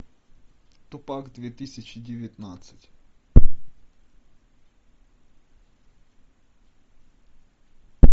тупак две тысячи девятнадцать